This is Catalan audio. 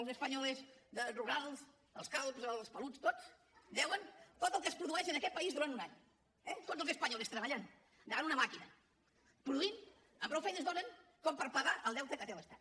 els españolestot el que es produeix en aquest país durant un any eh tots els españoles treballant davant una màquina produint amb prou feines donen com per pagar el deute que té l’estat